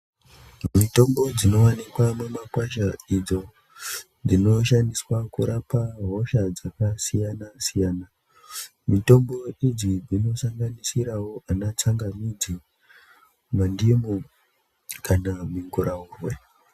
Mitombo dzinowanikwa mumakwasha idzo dzinoshandiswa kurapa hosha dzakasiyana-siyana. Mitombo idzi dzinosanganisirawo anatsangamidzi, mandimu kana mugurahungwe.